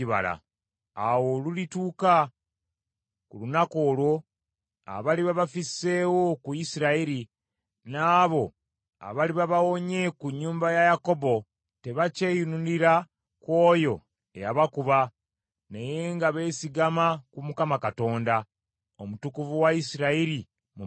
Awo olulituuka ku lunaku olwo, abaliba bafisseewo ku Isirayiri, n’abo abaliba bawonye ku nnyumba ya Yakobo nga tebakyeyinulira ku oyo eyabakuba naye nga beesigama ku Mukama Katonda, omutukuvu wa Isirayiri mu mazima.